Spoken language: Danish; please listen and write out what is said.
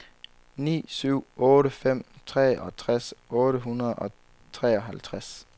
ni syv otte fem treogtres otte hundrede og treoghalvtreds